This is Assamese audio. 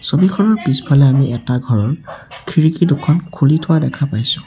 ছবিখনৰ পিছফালে আমি এটা ঘৰৰ খিৰিকী দুখন খুলি থোৱা দেখা পাইছোঁ।